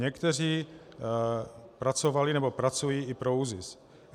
Někteří pracovali nebo i pracují pro ÚZIS.